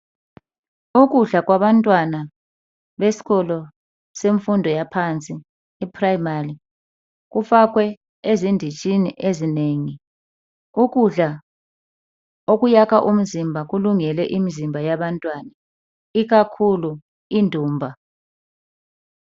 Ukudla kwabantwana besikolo semfundo yaphansi e 'primary' kufakwe ezindintshini ezinengi. Ukudla okuyaka umzimba kulungele imizimba yabantwana, ikakhulu indumba.